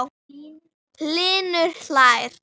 Hlynur hlær.